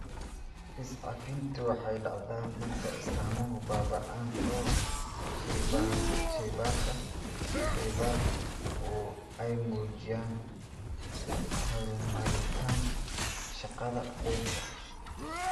Is-cafintu waxay dhacdaa marka astaamuhu baaba'aan oo shaybaadhka shaybaarku ay muujiyaan horumarinta shaqada beerka.